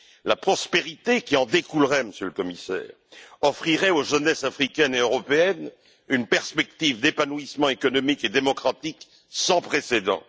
La prospérité qui en découlerait, Monsieur le Commissaire, offrirait aux jeunesses africaines et européennes une perspective d'épanouissement économique et démocratique sans précédent.